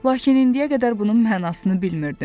Lakin indiyə qədər bunun mənasını bilmirdim.